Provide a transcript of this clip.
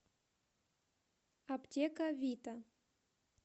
аптека вита